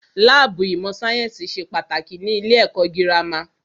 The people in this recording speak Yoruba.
Láàbù ìmọ̀ sáyẹ́nsì ṣe pàtàkì ní ilé ẹ̀kọ́ gírámà.